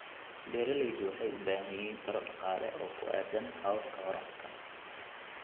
Beeraleydu waxay u baahan yihiin taageero dhaqaale oo ku aaddan hababka waraabka.